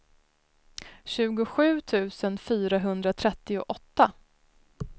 tjugosju tusen fyrahundratrettioåtta